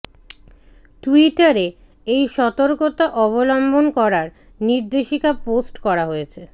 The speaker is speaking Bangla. টুইটারে এই সতর্কতা অবলম্বন করার নির্দেশিকা পোস্ট করা হয়েছে